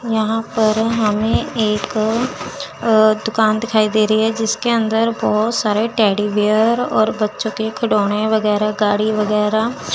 यहां पर हमें एक दुकान दिखाई दे रही है जिसके अंदर बहोत सारे टेडी बियर और बच्चों के खिलौने वगैरा गाड़ी वगैरा--